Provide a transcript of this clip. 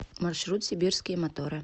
маршрут сибирские моторы